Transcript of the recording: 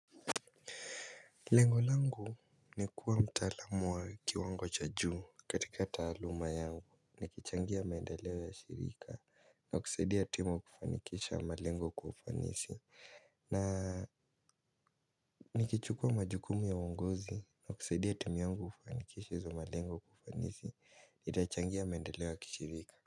Lengo langu ni kuwa mtaalamu wa kiwango cha juu katika taaluma yangu. Nikichangia maendeleo ya shirika na kusaidia timu kufanikisha malengo kwa ufanisi. Na nikichukua majukumu ya uongozi na kusaidia timu yangu kufanikisha hizo malengo kwa ufanisi itachangia maendeleo ya kishirika.